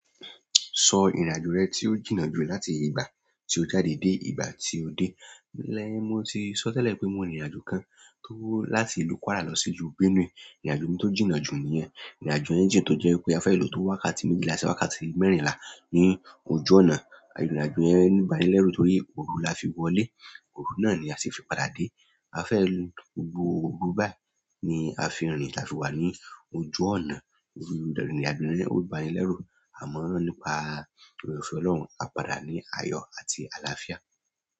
Sọ ìrìnàjò rẹ tí ó jìnnà jù láti ìgbà tí o jáde dé ìgbà tí o dé. Lẹ́ẹ̀, mo ti sọ tẹ́lẹ̀ pé mo ní ìrìnàjò kan tó láti ìlú Kwara lọ sí ìlú Benue. Ìrìnàjò mi tó jìnnà jù nìyẹn. Ìrìnàjò yẹn jìnnà tó jẹ́ pé a fẹ́ lò ó wákàtí méjìlá sí wákàtí mẹ́rìnlá ní ojú ọ̀nà. Ìrìnàjò yẹn ní ìbánilẹ́rù torí òru la fi wọlé, òru náà ni a sì fi padà dé. A fẹ́ lo òru gbùù, òru báyìí ni a fi rìn tí afi wà ní ojú ọ̀nà. Ìrìnàjò yẹn ò bá ni lẹ́rù, àmọ́ nípa ọ̀rẹ́ ọ̀fẹ́ Ọlọ́run, a padà ní ayọ̀ àti àlàáfíà.